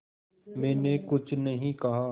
मैंने कुछ नहीं कहा